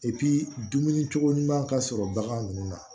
dumuni cogo ɲuman ka sɔrɔ bagan ninnu na